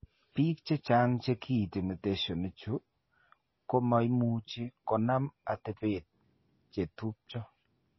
Biik chechang' che kiinti mutations chu komo muchi konom atepet che tupcho.